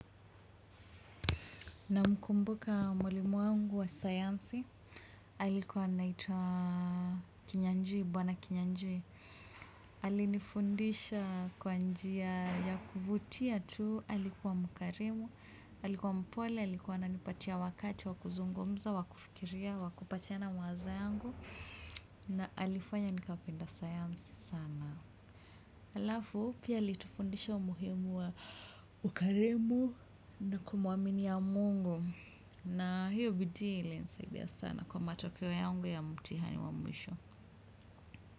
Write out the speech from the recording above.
Na mkumbuka mwalimu wangu wa sayansi, alikuwa anaitwa kinyanjui, bwana kinyanjui. Alinifundisha kwa njia ya kuvutia tu, alikuwa mkarimu, alikuwa mpole, alikuwa anipatia wakati, wakuzungumza, wakufikiria, wakupatiana mawazo yangu. Na alifanya nikapenda sayansi sana. Alafu pia alitufundisha umuhimu wa ukarimu na kumuamini ya Mungu na hio vitile ilisaidia sana kwa matokeo yangu ya mtihani wa mwisho.